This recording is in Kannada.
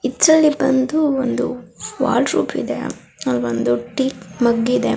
ಇದ್ರಲ್ಲಿ ಬಂದು ಒಂದು ವಾಲ್ ರೂಪ್ ಇದೆ ಅಲ್ವೊಂದು ಟೀ ಮಗ್ ಇದೆ .